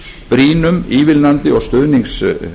brýnum ívilnandi og stuðningsverkefnum